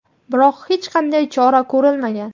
biroq hech qanday chora ko‘rilmagan.